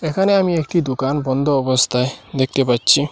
এখানে আমি একটি দুকান বন্ধ অবস্থায় দেখতে পাচ্ছি।